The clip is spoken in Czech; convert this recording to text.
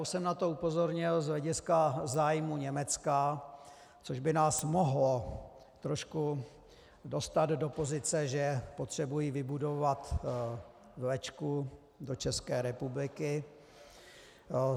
Už jsem na to upozornil z hlediska zájmů Německa, což by nás mohlo trošku dostat do pozice, že potřebují vybudovat vlečku do České republiky.